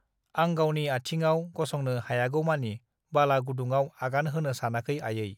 आं गावनि आथिंआव गसंनो हायागौमानि बाला गुदुंआव आगान होनो सानाखै आयै